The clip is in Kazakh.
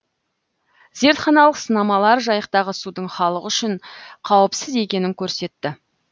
зертханалық сынамалар жайықтағы судың халық үшін қауіпсіз екенін көрсетті